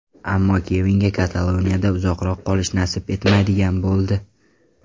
Ammo Kevinga Kataloniyada uzoqroq qolish nasib etmaydigan bo‘ldi.